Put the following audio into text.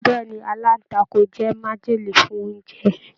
Bẹẹni, alantakun jẹ májèlé fún oúnjẹ.